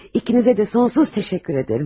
İkinizə də sonsuz təşəkkür edirəm.